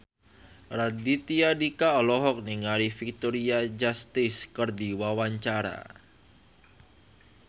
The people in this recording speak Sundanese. Raditya Dika olohok ningali Victoria Justice keur diwawancara